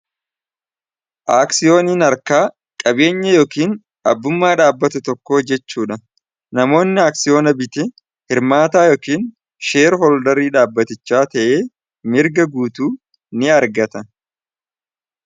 aaksiyooniin arkaa qabeenya yookiin abbummaa dhaabbate tokko jechuudha namoonni aaksiyoona biti hirmaataa yookiin sheer holdarii dhaabbatichaa ta'ee mirga guutuu ni argata